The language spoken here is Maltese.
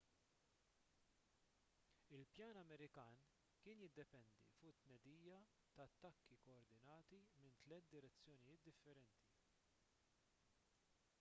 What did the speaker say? il-pjan amerikan kien jiddependi fuq it-tnedija ta' attakki kkoordinati minn tliet direzzjonijiet differenti